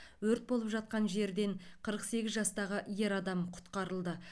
өрт болып жатқан жерден қырық сегіз жастағы ер адам құтқарылды